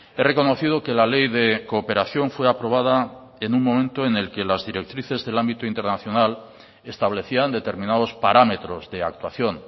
he reconocido que la ley de cooperación fue aprobada en un momento en el que las directrices del ámbito internacional establecían determinados parámetros de actuación